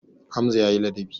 Hamza ya yi ladabi.